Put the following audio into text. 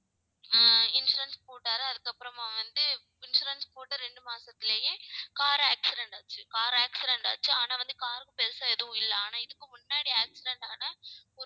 ஹம் insurance போட்டாரு அதுக்கப்புறமா வந்து, insurance போட்டு ரெண்டு மாசத்திலயே car accident ஆச்சு car accident ஆச்சு ஆனா வந்து car க்கு பெருசா எதுவும் இல்லை. ஆனா இதுக்கு முன்னாடி accident ஆன